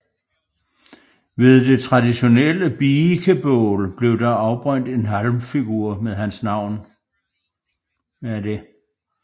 Ved det traditionelle biikebål blev der afbrændt en halmfigur med hans navn